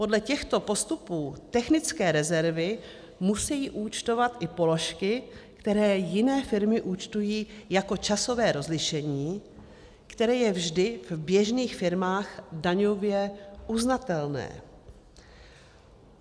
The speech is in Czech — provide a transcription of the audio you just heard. Podle těchto postupů technické rezervy musejí účtovat i položky, které jiné firmy účtují jako časové rozlišení, které je vždy v běžných firmách daňově uznatelné.